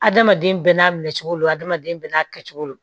Adamaden bɛɛ n'a minɛ cogo lo adamaden bɛɛ n'a kɛcogo don